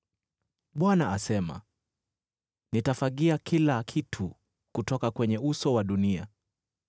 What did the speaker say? Bwana asema, “Nitafagia kila kitu kutoka kwenye uso wa dunia.”